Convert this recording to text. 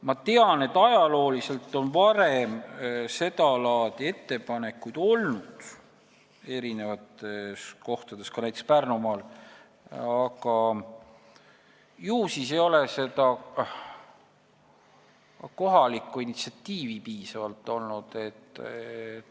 Ma tean, et ajalooliselt on seda laadi ettepanekuid tehtud eri kohtades, ka näiteks Pärnumaal, aga ju siis ei ole piisavalt kohalikku initsiatiivi olnud.